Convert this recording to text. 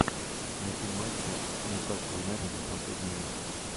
найти матча ньюкасл юнайтед за последний месяц